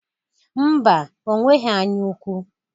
Ḿbà, onweghi anyaukwu